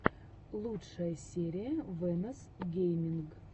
лучшая серия вэнос гейминг